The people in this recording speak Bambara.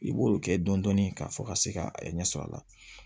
I b'olu kɛ dɔni dɔni ka fɔ ka se ka ɲɛsɔrɔ a la